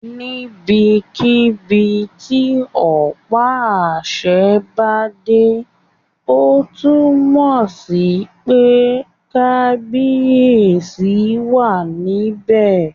Níbikíbi tí ọ̀pá àṣẹ bá dé, ó túnmọ̀ sí pé kábíyèsí wà níbẹ̀